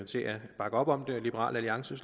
bakke op om det og liberal alliance